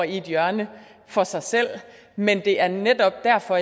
et hjørne for sig selv men det er netop derfor